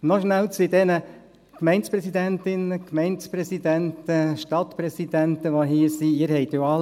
Noch kurz zu diesen Gemeindepräsidentinnen, Gemeindepräsidenten, Stadtpräsidentinnen, Stadtpräsidenten, die hier sind: